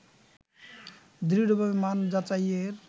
দৃঢ়ভাবে মান যাচাইয়ের